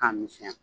K'a misɛnya